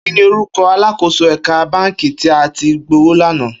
Kini órúkò àlákósó èkà bànkí ti à ti gbówó lànã?